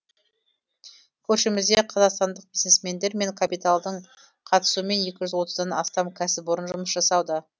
көршімізде қазақстандық бизнесмендер мен капиталдың қатысуымен екі жүз отыздан астам кәсіпорын жұмыс жасауда